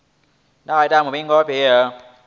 na u ita muvhigo wa